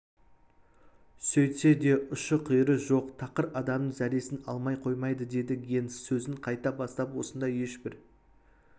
сөйтсе де ұшы-қиыры жоқ тақыр адамның зәресін алмай қоймайды деді генс сөзін қайта бастап осындай ешбір